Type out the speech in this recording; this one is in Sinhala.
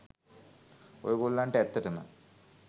ඔය ගොල්ලන්ට ඇත්තටම